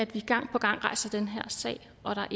vi gang på gang rejser den her sag og der